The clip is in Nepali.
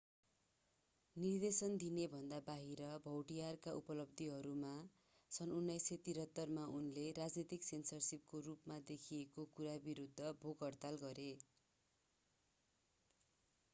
निर्देशन दिनेभन्दा बाहिर भौटियरका उपलब्धिहरूमा सन् 1973 मा उनले राजनीतिक सेन्सरशिपको रूपमा देखेको कुरा विरूद्ध भोक-हडताल गरे